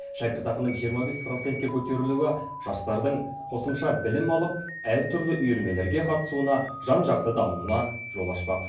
шәкіртақының жиырма бес процентке көтерілуі жастардың қосымша білім алып әртүрлі үйірмелерге қатысуына жан жақты дамуына жол ашпақ